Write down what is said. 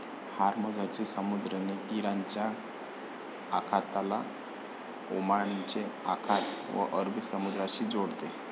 हार्मो झची समुद्रधूनी इराणच्या आखाताला ओमानचे आखात व अरबी समुद्रा शी जोडते